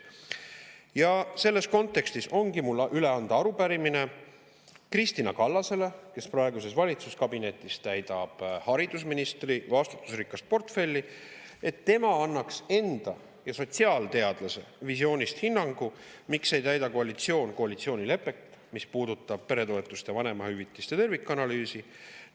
Ja selles kontekstis ongi mul üle anda arupärimine Kristina Kallasele, kes praeguses valitsuskabinetis haridusministri vastutusrikast portfelli, et ta annaks nii enda kui ka sotsiaalteadlase visioonist hinnangu, miks ei täida koalitsioon koalitsioonilepet, mis peretoetuste ja vanemahüvitise tervikanalüüsi.